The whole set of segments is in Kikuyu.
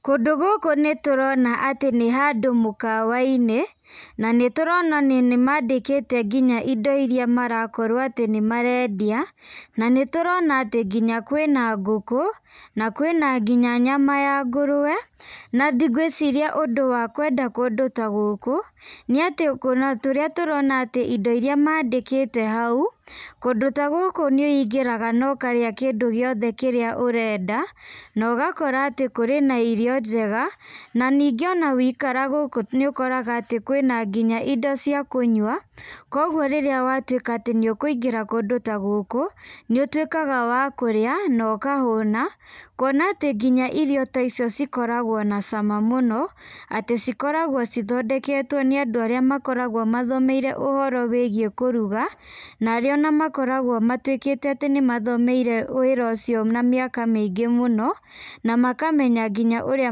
Kũndũ gũkũ nĩtũrona nĩ handũ mũkawa-inĩ , na nĩ tũrona atĩ nĩmandĩkĩte indo iria marakorwo atĩ nĩmarendia, nĩtũrona atĩ nginya kwĩna ngũkũ, na kwĩna nginya nyama ya ngũrũwe, na ngwĩciria ũndũ wa kwenda kũndũ ta gũkũ, nĩ atĩ tũrona indo iria mandĩkĩte hau, kũndũ ta gũkũ nĩ wiĩngĩraga na ũkarĩa kĩndũ kĩrĩa ũrenda , na ũgakora atĩ kũrĩ na irio njega, na ningĩ waikara gũkũ nĩ ũkoraga atĩ nginya kwĩna indo cia kũnyua, kũgwo rĩrĩa watwĩka wa kũingĩra kũndũ ta gũkũ, nĩ ũtwĩkaga wa kũrĩa na ũkahuna, kuona atĩ irio ta icio cikoragwo na cama mũno, atĩ cikoragwo cithondeketwo nĩ andũ arĩa makoragwo mathomeire ũhoro wĩgiĩ kũruga na arĩa makoragwo matwĩke atĩ nĩmathomeire wĩra ũcio na mĩaka mĩingĩ mũno, na makamenya ũrĩa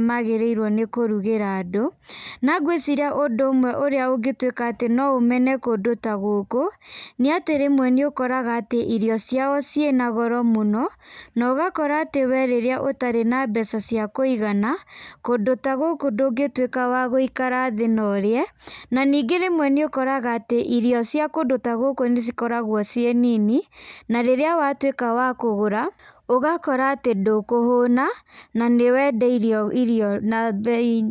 magĩrĩire kũrugĩra andũ, na ngwĩciria ũndũ ũrĩa ũngĩtũma mene kũndũ ta gũkũ, nĩ ũkoraga atĩ irio ciao cina goro mũno, na ũgakora rĩrĩa we ũtarĩ na mbeca cia kũigana, kũndũ ta gũkũ ndũgĩtwĩka wa gũikara thĩ na ũrĩe, na ningĩ rĩmwe nĩ ũkoraga atĩ irio cia kũndũ ta gũkũ nĩ cikoragwo ciĩ nini , na rĩrĩa watwĩka wa kũgũra , ndũkũhũna na nĩ wendeirio na mbei.